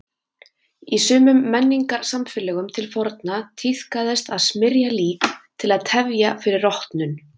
Í sumum menningarsamfélögum til forna tíðkaðist að smyrja lík til að tefja fyrir rotnun.